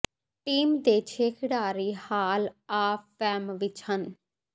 team ਦੇ ਛੇ ਖਿਡਾਰੀ ਹਾਲ ਆਫ ਫੇਮ ਵਿਚ ਹਨ